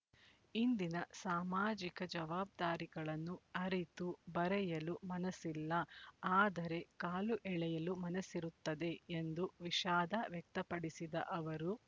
ಇಂದಿನ ಸಾಮಾಜಿಕ ಜವಾಬ್ದಾರಿಗಳನ್ನು ಅರಿತು ಬರೆಯಲು ಮನಸ್ಸಿಲ್ಲ ಆದರೆ ಕಾಲು ಎಳೆಯಲು ಮನಸ್ಸಿರುತ್ತದೆ ಎಂದು ವಿಷಾದ ವ್ಯಕ್ತಪಡಿಸಿದ ಅವರು